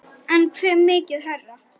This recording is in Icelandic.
En hve mikið hærra?